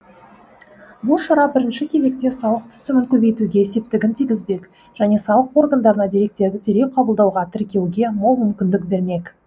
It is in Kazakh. бұл шара бірінші кезекте салық түсімін көбейтуге септігін тигізбек және салық органдарына деректерді дереу қабылдауға тіркеуге мол мүмкіндік бермек